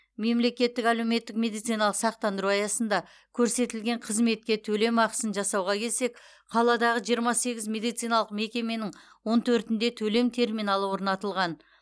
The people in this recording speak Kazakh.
мемлекеттік әлеуметтік медициналық сақтандыру аясында көрсетілген қызметке төлем ақысын жасауға келсек қаладағы жиырма сегіз медициналық мекеменің он төртінде төлем терминалы орнатылған